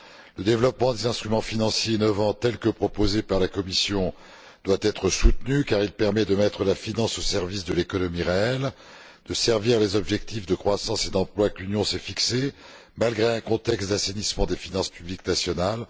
Le développement des instruments financiers novateurs tel que proposé par la Commission doit être soutenu car il permet de mettre la finance au service de l'économie réelle, et de servir les objectifs de croissance et d'emploi que l'Union s'est fixés, malgré un contexte d'assainissement des finances publiques nationales.